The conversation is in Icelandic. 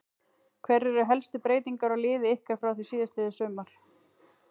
Hverjar eru helstu breytingar á liði ykkar frá því síðastliðið sumar?